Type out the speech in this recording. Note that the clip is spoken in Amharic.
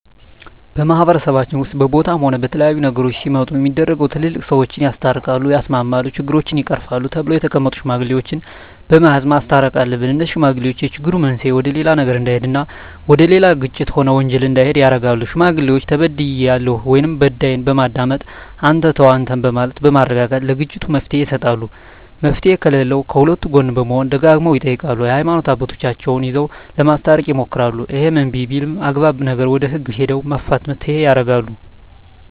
በማህበረሰባችን ውስጥም በቦታም ሆነ በተለያዩ ነገሮች ሲመጡ ሚደረገው ትላልቅ ሰዎች ሰውን ያስታርቃል ያስማማሉ ችግሮችን ይቀርፋሉ ተብለው የተቀመጡ ሽማግሌዎች በመያዝ ማስተየቅ አሉብን እነዜህ ሽማግሌዎች የችግሩ መንሰየ ወደሌላ ነገር እዳሄድ እና ወደሌላ ግጭት ሆነ ወንጀል እንዲሄድ ያረጋሉ ሽማግሌዎች ተበድያለሁ ወይም በዳይን በማዳመጥ አንተ ተው አንተም በማለት በማረጋጋት ለግጭቱ መፍትሔ ይሰጣሉ መፍትሔ ከለለውም ከሁለቱ ጎን በመሆን ደጋግመው ይጠይቃሉ የሀይማኖት አባቶቻቸው ይዘው ለማስታረቅ ይሞክራሉ እሄም እንብይ ቢልም አግባብ ነገር ወደ ህግ ሄደው መፋተየ ያረጋሉ